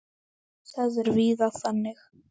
Það er víða þannig.